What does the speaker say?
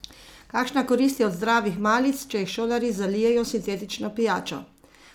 Kakšna korist je od zdravih malic, če jih šolarji zalijejo s sintetično pijačo?